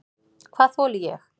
Hvað þoli ég?